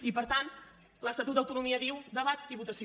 i per tant l’estatut d’autonomia diu debat i votació